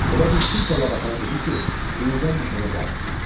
Elə bil kimsə Labakana dedi ki, yenidən dükana qayıt.